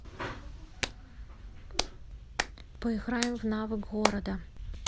поиграем в навык города